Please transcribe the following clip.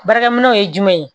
Baarakɛminɛnw ye jumɛn